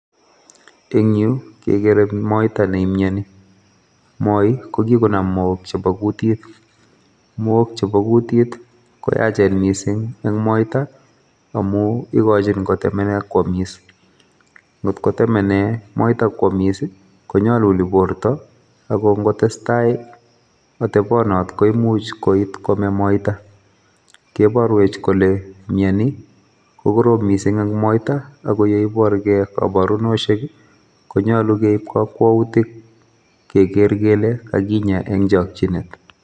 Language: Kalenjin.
En yuh kegere moita nemioni, moi kokikonaam mook chebo kuutit. Mook chebo kuutit koyache. missing en moita, amun ikochin kotemenen kwomis, kit kotemenen moita kwomis I,konyolulii bortoo ak ingotestai atebonotet koimuch koit komee moita. Keborwech kole mioni ko koroom missing en moita, akoyeiborgee koborunosiek i,konyolu keib kakwoutik kekeer kele kakinyaa en chokchinet.